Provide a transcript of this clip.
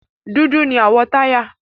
Dúdú ni àwọ̀ táyà.